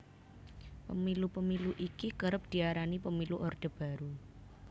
Pemilu Pemilu iki kerep diarani Pemilu Orde Baru